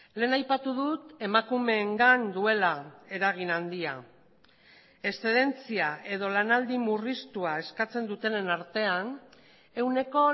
lehen aipatu dut emakumeengan duela eragin handia eszedentzia edo lanaldi murriztua eskatzen dutenen artean ehuneko